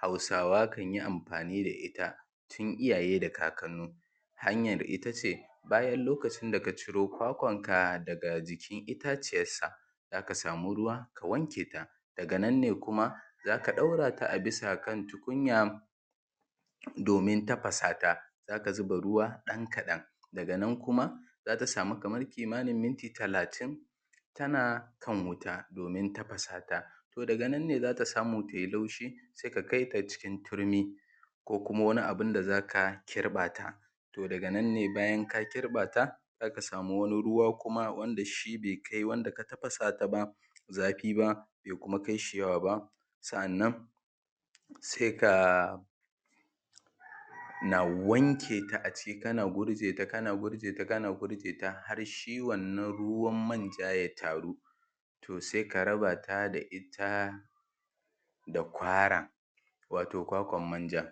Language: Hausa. Hausawa suke anfani da ita tun iyaye da kakkanni. Hanyar ita ce: bayan lokacin da ka ciro kwakwanka daga itaciyar ta, za ka samu ruwa, ka wake ta. daga nan ne kuma za ka ɗaura ta a bisa kan tukunya domin tafasata za ka zuba ruwa ɗan kaɗan daga nan kuma za ka samu kaman kimanin minti talatin tana kan wuta domin tafasata. To, daga nan ne za ka samu ta yi laushi, se ka kai ta cikin turmi ko kuma wani abun da za ka kirɓa ta. To, daga nan ne, bayan ka kirɓa ta, za ka samu wani ruwa, wanda shi ne be kai wanda ka tafasa ta zafi ba, be kuma fi shi yawa ba. Sa’annan se ka wanke ta a ciki, kana gurje ta, kana gurje ta, kana gurje ta, har shi wannan ruwan manjan ya taru, to sai ka raba ta da ita, da kwara, wato kwakwan manjan.